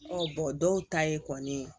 dɔw ta ye kɔni